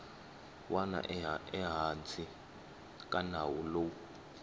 wana ehansi ka nawu lowu